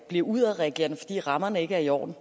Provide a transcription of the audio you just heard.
bliver udadreagerende fordi rammerne ikke er i orden